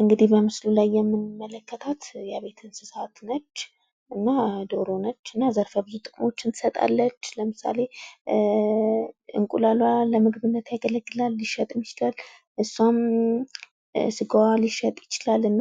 እንግድህ በምስሉ ላይ የምንመለከታት የቤት እንስሳት ነች። እና ዶሮ ነች። እና ዘርፈ ብዙ ጥቅሞችን ትሰጣለች። ለምሳሌ እንቁላልዋ ለምግብነት ያገለግላል ሊሸጥም ይችላል። እሷም ስጋዋ ሊሸጥ ይችላል እና